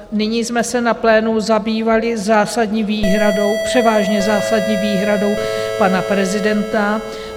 Nyní jsme se na plénu zabývali zásadní výhradou, převážně zásadní výhradou pana prezidenta.